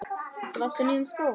Þú varst á nýjum skóm.